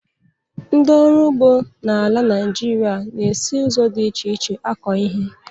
Ndị ọrụ ugbo n'ala Naijiria na-esi ụzọ dị iche iche akọ ihe.